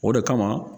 O de kama